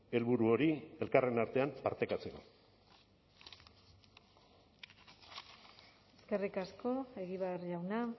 helburu hori elkarren artean partekatzeko eskerrik asko egibar jauna